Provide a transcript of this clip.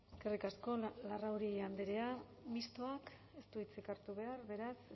eskerrik asko eskerrik asko larrauri andrea mistoak ez du hitzik hartu behar beraz